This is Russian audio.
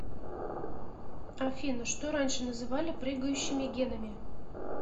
афина что раньше называли прыгающими генами